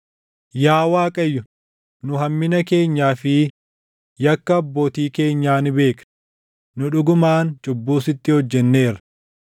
Yaa Waaqayyo, nu hammina keenyaa fi yakka abbootii keenyaa ni beekna; nu dhugumaan cubbuu sitti hojjenneerra.